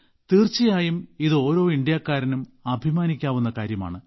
തീർച്ചയായും ഇത് ഓരോ ഇന്ത്യക്കാരനും അഭിമാനിക്കാവുന്ന കാര്യമാണ്